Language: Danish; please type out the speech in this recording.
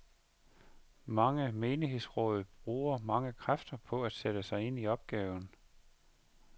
Mange menighedsråd bruger mange kræfter på at sætte sig ind i opgaven.